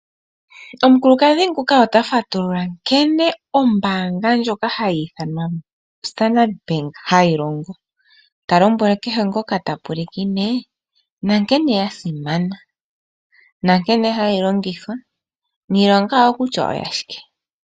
Omukulukadhi nguka ota fatulula nkene ombaanga ndjoka hayi ithanwa standard bank hayi longo. Ta lombweke kehe ngoka ta pulakene na nkene ya simana na nkene hayi longithwa ,niilonga yawo kutya oya shike.